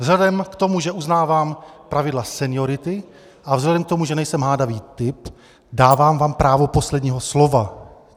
Vzhledem k tomu, že uznávám pravidla seniority, a vzhledem k tomu, že nejsem hádavý typ, dávám vám právo posledního slova.